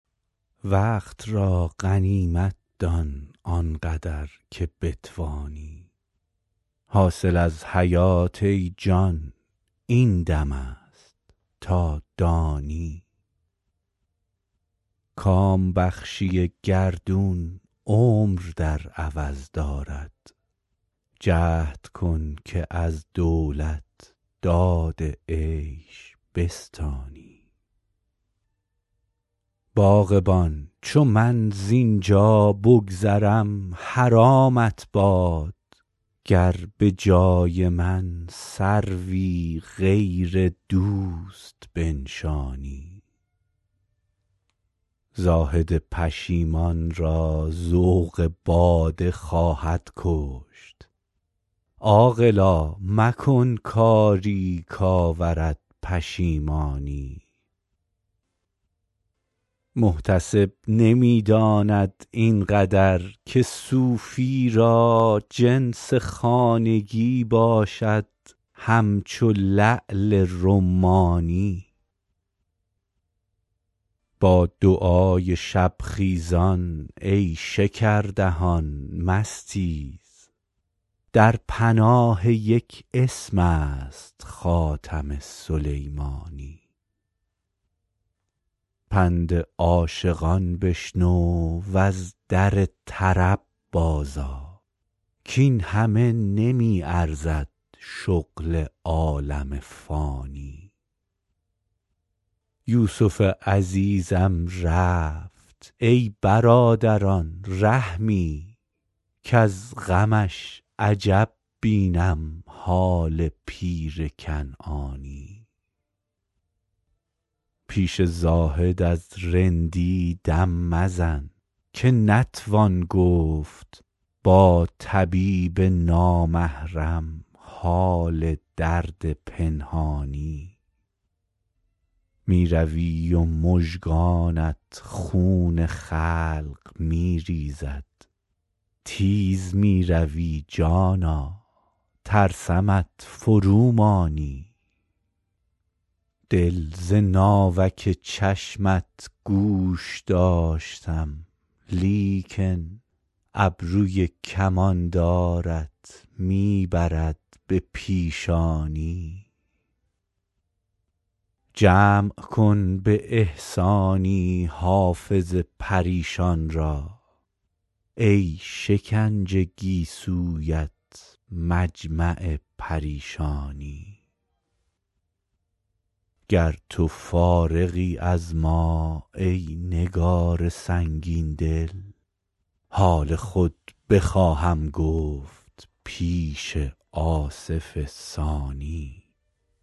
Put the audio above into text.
وقت را غنیمت دان آن قدر که بتوانی حاصل از حیات ای جان این دم است تا دانی کام بخشی گردون عمر در عوض دارد جهد کن که از دولت داد عیش بستانی باغبان چو من زین جا بگذرم حرامت باد گر به جای من سروی غیر دوست بنشانی زاهد پشیمان را ذوق باده خواهد کشت عاقلا مکن کاری کآورد پشیمانی محتسب نمی داند این قدر که صوفی را جنس خانگی باشد همچو لعل رمانی با دعای شب خیزان ای شکردهان مستیز در پناه یک اسم است خاتم سلیمانی پند عاشقان بشنو و از در طرب بازآ کاین همه نمی ارزد شغل عالم فانی یوسف عزیزم رفت ای برادران رحمی کز غمش عجب بینم حال پیر کنعانی پیش زاهد از رندی دم مزن که نتوان گفت با طبیب نامحرم حال درد پنهانی می روی و مژگانت خون خلق می ریزد تیز می روی جانا ترسمت فرومانی دل ز ناوک چشمت گوش داشتم لیکن ابروی کماندارت می برد به پیشانی جمع کن به احسانی حافظ پریشان را ای شکنج گیسویت مجمع پریشانی گر تو فارغی از ما ای نگار سنگین دل حال خود بخواهم گفت پیش آصف ثانی